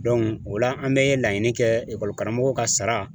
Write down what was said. o la an bɛ laɲini kɛ ekɔli karamɔgɔ ka sara.